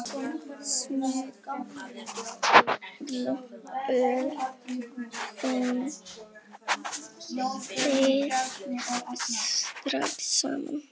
Smulluð þið strax saman?